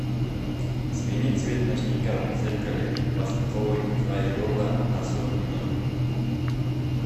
смени цвет ночника в зеркале васильковый крайола на сорок минут